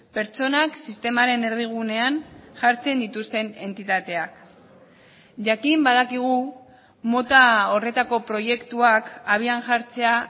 pertsonak sistemaren erdigunean jartzen dituzten entitateak jakin badakigu mota horretako proiektuak abian jartzea